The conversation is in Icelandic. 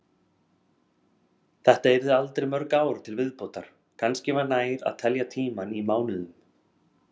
Þetta yrðu aldrei mörg ár til viðbótar, kannski var nær að telja tímann í mánuðum.